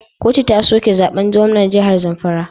Kotu ta soke zaben gwamnan jihar zamfara